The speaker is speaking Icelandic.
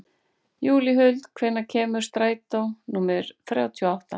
Júlíhuld, hvenær kemur strætó númer þrjátíu og átta?